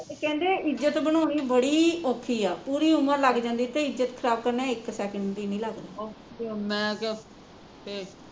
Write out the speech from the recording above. ਕਹਿੰਦੇ ਇੱਜ਼ਤ ਬਣਾਉਣੀ ਬੜੀ ਔਖੀ ਆ ਪੂਰੀ ਉਮਰ ਲੱਗ ਜਾਂਦੀ ਤੇ ਇੱਜ਼ਤ ਖਰਾਬ ਕਰਨ ਇੱਕ ਸੈਕਡ ਨੀ ਲੱਗਦਾ